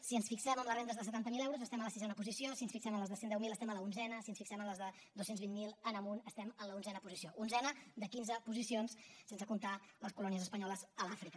si ens fixem en les rendes de setanta miler euros estem a la sisena posició si ens fixem en les de cent i deu mil estem a l’onzena si ens fixem en les de dos cents i vint miler en amunt estem en l’onzena posició onzena de quinze posicions sense comptar les colònies espanyoles a l’àfrica